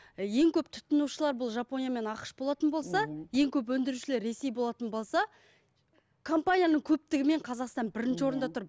ең көп тұтынушылар бұл жапония мен ақш болатын болса ең көп өндірушілер ресей болатын болса компанияның көптігімен қазақстан бірінші орында тұр